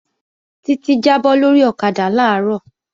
Títí jábọ́ lórí ọ̀kadà làárọ̀